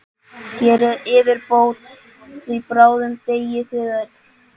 Gerið yfirbót, því bráðum deyið þið öll!